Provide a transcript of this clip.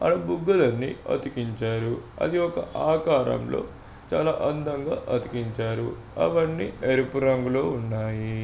ఆడ బుగ్గలన్ని అతికించారు. అది ఒక ఆకారంలో చాలా అందంగా అతికించారు. అవన్నీ ఎరుపు రంగులో ఉన్నాయి.